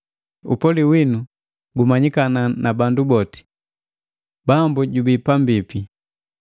Upoli winu gumanyikana na bandu boti. Bambu jubii pambipi.